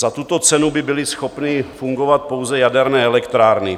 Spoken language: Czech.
Za tuto cenu by byly schopny fungovat pouze jaderné elektrárny.